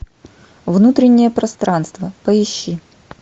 внутреннее пространство поищи